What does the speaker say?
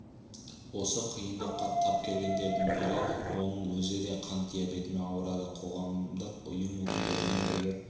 осы қиындыққа тап келгендердің бірі оның өзі де қант диабетімен ауырады қоғамдық ұйым өкілдерімен бірге